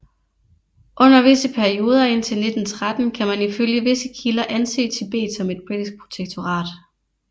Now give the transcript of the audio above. Under visse perioder indtil 1913 kan man ifølge visse kilder anse Tibet som et britiskt protektorat